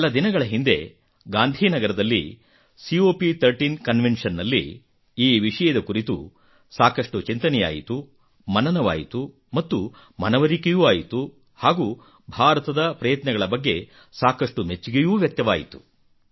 ಕೆಲ ದಿನಗಳ ಹಿಂದೆ ಗಾಂಧಿ ನಗರದಲ್ಲಿ ಕಾಪ್ 13 ಕನ್ವೆನ್ಷನ್ ನಲ್ಲಿ ಈ ವಿಷಯದ ಕುರಿತು ಸಾಕಷ್ಟು ಚಿಂತನೆಯಾಯಿತು ಮನನವಾಯಿತು ಮತ್ತು ಮನವರಿಕೆಯೂ ಆಯಿತು ಮತ್ತು ಭಾರತದ ಪ್ರಯತ್ನಗಳ ಬಗ್ಗೆ ಸಾಕಷ್ಟು ಮೆಚ್ಚುಗೆಯೂ ವ್ಯಕ್ತವಾಯಿತು